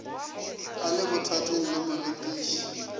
a le bothateng le morekiši